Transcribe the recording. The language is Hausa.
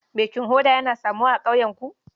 Baking hoda yana samuwa a ƙauyenku?